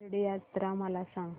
शिर्डी यात्रा मला सांग